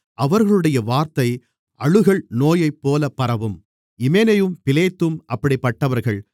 அவர்களுடைய வார்த்தை அழுகல் நோயைப்போல பரவும் இமெனேயும் பிலேத்தும் அப்படிப்பட்டவர்கள்